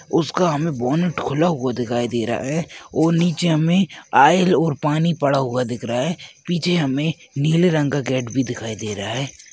उसका हमें बोनट खुला हुआ दिखाई दे रहा है और नीचे हमें आइल और पानी पड़ा हुआ दिख रहा है पीछे हमें नीले रंग का गेट भी दिखाई दे रहा है।